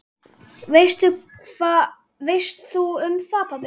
Hvað veist þú um það, pabbi?